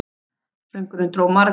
Söngurinn dró marga að.